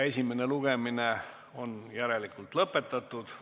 Esimene lugemine on lõppenud.